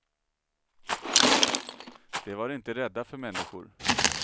De var inte rädda för människor.